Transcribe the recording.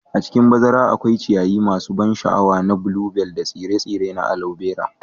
A cikin bazara akwai ciyayi masu ban sha'awa na bluebells da tsire-tsire na alobera.